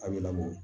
A bɛ labɔ